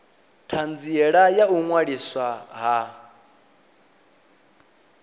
thanziela ya u ṅwaliswa ha